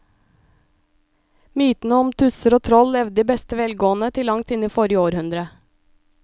Mytene om tusser og troll levde i beste velgående til langt inn i forrige århundre.